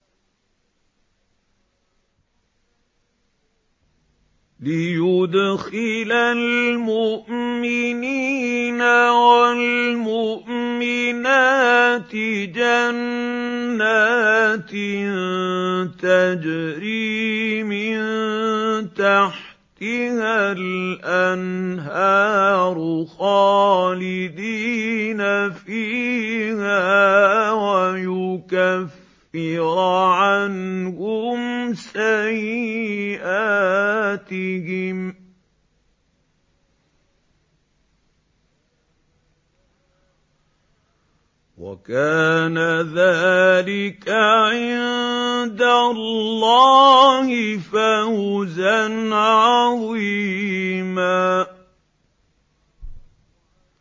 لِّيُدْخِلَ الْمُؤْمِنِينَ وَالْمُؤْمِنَاتِ جَنَّاتٍ تَجْرِي مِن تَحْتِهَا الْأَنْهَارُ خَالِدِينَ فِيهَا وَيُكَفِّرَ عَنْهُمْ سَيِّئَاتِهِمْ ۚ وَكَانَ ذَٰلِكَ عِندَ اللَّهِ فَوْزًا عَظِيمًا